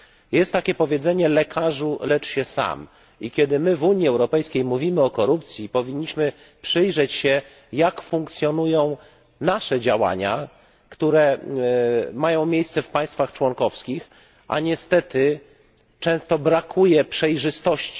Jest takie powiedzenie lekarzu, lecz się sam. I kiedy my w Unii Europejskiej mówimy o korupcji, powinniśmy przyjrzeć się, jak funkcjonują nasze działania, które mają miejsce w państwach członkowskich, a niestety często brakuje przejrzystości.